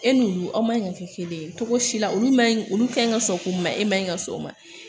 E n'olu aw man ka kɛ kelen ye cogo si la olu man ɲi olu ka ɲi ka sɔn k'u ma e ma ɲi ka sɔn o ma